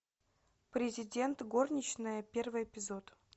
президент горничная первый эпизод